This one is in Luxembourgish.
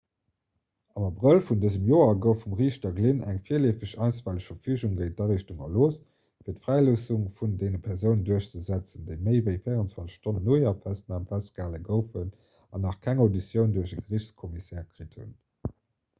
am abrëll vun dësem joer gouf vum riichter glynn eng virleefeg einstweileg verfügung géint d'ariichtung erlooss fir d'fräiloossung vun deene persounen duerchzesetzen déi méi ewéi 24 stonnen no hirer festnam festgehale goufen an nach keng auditioun duerch e geriichtscommissaire kritt hunn